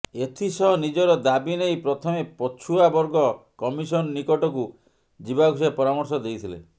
ଏଥିସହ ନିଜର ଦାବି ନେଇ ପ୍ରଥମେ ପଛୁଆ ବର୍ଗ କମିସନ ନିକଟକୁ ଯିବାକୁ ସେ ପରାମର୍ଶ ଦେଇଥିଲେ